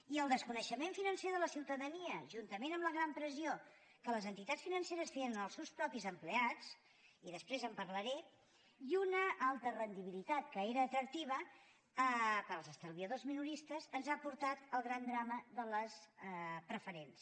i el desconeixement financer de la ciutadania juntament amb la gran pressió que les entitats financeres feien als seus propis empleats i després en parlaré i una alta rendibilitat que era atractiva per als estalviadors minoristes ens ha portat el gran drama de les preferents